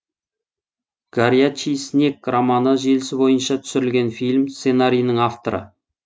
горячий снег романы желісі бойынша түсірілген фильм сценарийінің авторы